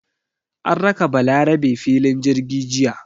An raka Balarabe filin jirgi jiya.